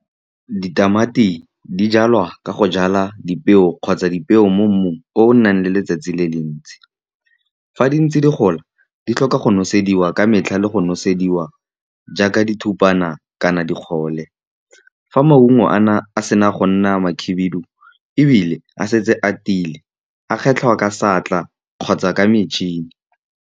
Ditamati di jalwa ka go jala dipeo kgotsa dipeo mo mmung o o nang le letsatsi le le ntsi. Fa di ntse di gola, di tlhoka go nosediwa ka metlha le go nosediwa jaaka dithupana kana dikgole. Fa maungo a sena go nna makhibidu, ebile a setse a tiile, a kgetlhwa ka seatla kgotsa ka metšhini.